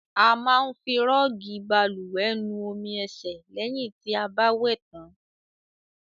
A máa ń fi rọọgi bálùwẹ̀ nu omi ẹ̀sẹ̀ lẹ̀hìn ti a bá wẹ̀ tàn.